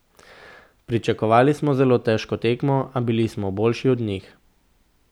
Pričakovali smo zelo težko tekmo, a bili smo boljši od njih.